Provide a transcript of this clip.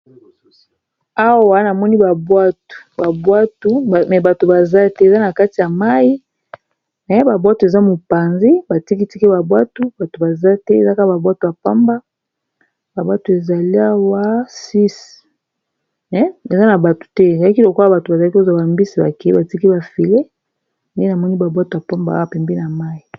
Awa namoni ba bwatu bato bazate eza na kati ya mayi babwato eza mopanzi batiki tiki ba bwatu bato baza te ezaka ba bwato apamba ba bwato ezali awa six eza na batu te eyaki lokola bato bazali kozwa bambisi bake batiki bafile nde na moni babwato apamba wa pembe na mai